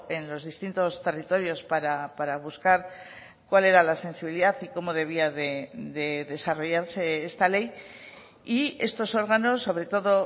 en los distintos territorios para buscar cuál era la sensibilidad y cómo debía de desarrollarse esta ley y estos órganos sobre todo